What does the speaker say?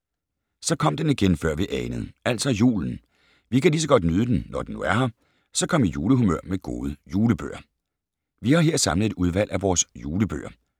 Så kom den igen, før vi anede. Altså julen. Vi kan lige så godt nyde den, når den nu er her. Så kom i julehumør med gode julebøger. Vi har her samlet et udvalg af vores julebøger.